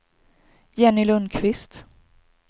Jenny Lundkvist